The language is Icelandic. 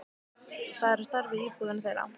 Það er á stærð við íbúðina þeirra.